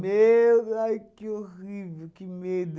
Meu de, ai que horrível, que medo.